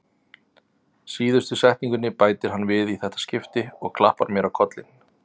Síðustu setningunni bætir hann við í þetta skipti og klappar mér á kollinn.